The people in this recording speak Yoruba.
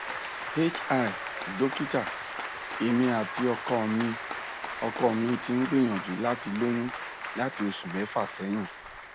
hi dokita emi ati ọkọ mi ọkọ mi ti n gbiyanju lati loyun lati oṣu mẹfa sẹhin